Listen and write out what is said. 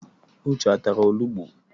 Uche atara olugbu?